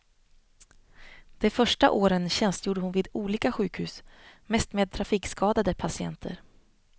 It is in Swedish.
De första åren tjänstgjorde hon vid olika sjukhus, mest med trafikskadade patienter.